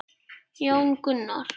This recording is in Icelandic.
Jón Gunnar.